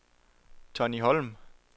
Tonni Holm